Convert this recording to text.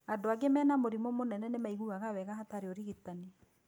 Andũ aingĩ mena mũrimũ mũnene nĩ maiguaga wega hatarĩ ũrigitani.